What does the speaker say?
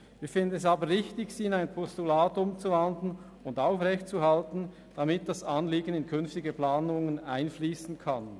Wir finden es aber richtig, sie in ein Postulat umzuwandeln und aufrechtzuerhalten, damit das Anliegen in künftige Planungen einfliessen kann.